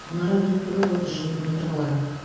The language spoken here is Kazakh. мұнара биіктігі отыз жеті метр болады